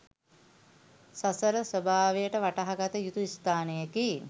සසර ස්වභාව වටහාගත යුතු ස්ථානයෙකි.